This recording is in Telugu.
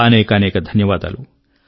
అనేకానేక ధన్యవాదాలు